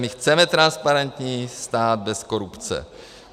My chceme transparentní stát bez korupce.